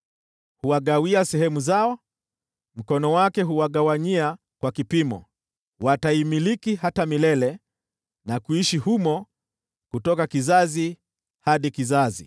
Huwagawia sehemu zao, mkono wake huwagawanyia kwa kipimo. Wataimiliki hata milele na kuishi humo kutoka kizazi hadi kizazi.